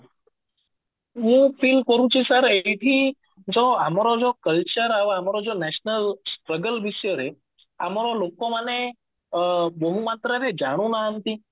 ମୁଁ feel କରୁଛି sir ଏଇଠି ଯୋଉ ଆମର ଯୋଉ culture ଆଉ ଆମର ଯୋଉ national struggle ବିଷୟରେ ଆମର ଲୋକମାନେ ଅ ବହୁତ ମାତ୍ରାରେ ଜାଣୁ ନାହାନ୍ତି